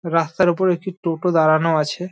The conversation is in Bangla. রাস্তার ওপরে একটি টোটো দাঁড়ানো আছে |